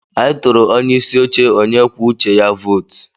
Anyị tụụrụ onye isi oche onye kwuo uche ya vootu.